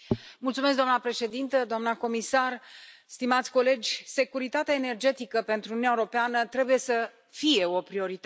Doamna președintă, doamna Comisar, stimați colegi, securitatea energetică pentru Uniunea Europeană trebuie să fie o prioritate.